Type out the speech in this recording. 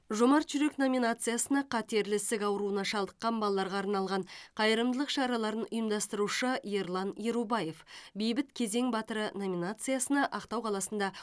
жомарт жүрек номинациясына қатерлі ісік ауруына шалдыққан балаларға арналған қайырымдылық шараларын ұйымдастырушы ерлан ерубаев бейбіт кезең батыры номинациясына ақтау қаласында